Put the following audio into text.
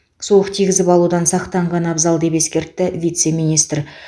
суық тигізіп алудан сақтанған абзал деп ескертті вице министр